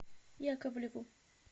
яковлеву